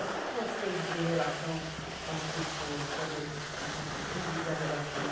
Eu sempre gostei de ter relação com as pessoas e fazer um tipo público a relações.